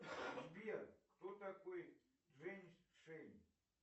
сбер кто такой женьшень